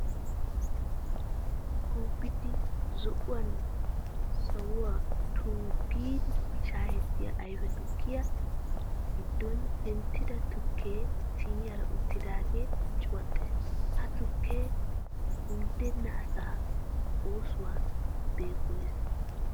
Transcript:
Kuubidi zo'uwan sawuwa tonggu giidi shaayetta ayfe tukkiya giddon penttida tukkee siiniyara uttidaagee cuwattees. Ha tukkee undenna asaa oosuwawu beegoyees.